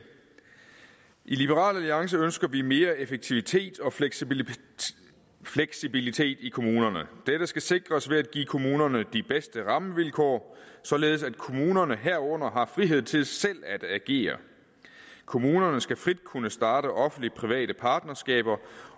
i liberal alliance ønsker vi mere effektivitet og fleksibilitet fleksibilitet i kommunerne dette skal sikres ved at give kommunerne de bedste rammevilkår således at kommunerne herunder har frihed til selv at agere kommunerne skal frit kunne starte offentlig private partnerskaber